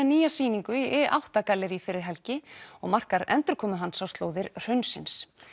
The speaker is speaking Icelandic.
nýja sýningu í i átta gallerí fyrir helgi og marka endurkomu hans á slóðir hraunsins